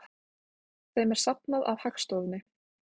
Þeim er safnað af Hagstofunni.